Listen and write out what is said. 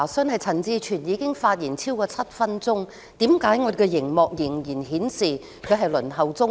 我有一項查詢，就是陳志全已經發言超過7分鐘，為何熒幕仍然顯示他在輪候中？